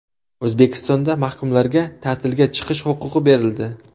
O‘zbekistonda mahkumlarga ta’tilga chiqish huquqi berildi.